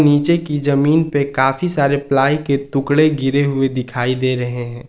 नीचे की जमीन पे काफी सारे प्लाई के टुकड़े गिरे हुए दिखाई दे रहे हैं।